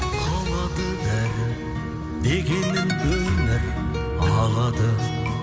қалады бәрі мекенің өмір ағады